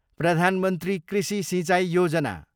प्रधान मन्त्री कृषि सिंचाई योजना